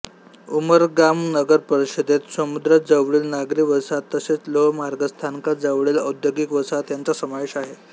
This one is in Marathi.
उमरगाम नगर परिषदेत समुद्राजवळील नागरी वसाहत तसेच लोह मार्ग स्थानकाजवळील औद्योगिक वसाहत ह्यांचा समावेश आहे